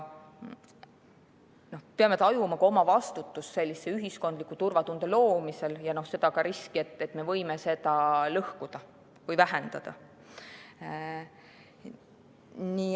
Me peame tajuma oma vastutust ühiskondliku turvatunde loomisel ja ka riski, et me võime seda lõhkuda või vähendada.